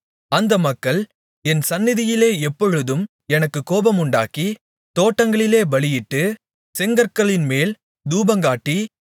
அந்த மக்கள் என் சந்நிதியிலே எப்பொழுதும் எனக்குக் கோபமுண்டாக்கி தோட்டங்களிலே பலியிட்டு செங்கற்களின்மேல் தூபங்காட்டி